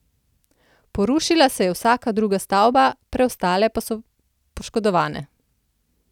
Porušila se je vsaka druga stavba, preostale pa so poškodovane.